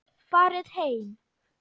Farið heim!